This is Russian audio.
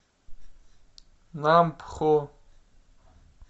нампхо